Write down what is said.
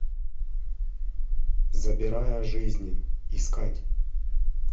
забирая жизни искать